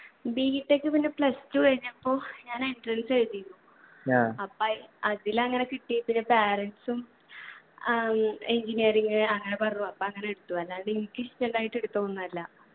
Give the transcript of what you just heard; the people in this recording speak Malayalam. b. tech പിന്നെ plus two കഴിഞ്ഞപ്പോ ഞാൻ entrance എഴുതിയിനു അപ്പൊ അയ് അതിലങ്ങനെ കിട്ടി പിന്നെ parents ഉം ഉം engineering അങ്ങനെ പറഞ്ഞു അപ്പൊ അങ്ങനെ എടുത്തു. അല്ലാണ്ട് എനിക്ക് ഇഷ്ടുണ്ടായിട്ട് എടുത്തത് ഒന്നു അല്ല